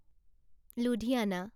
Ludhiana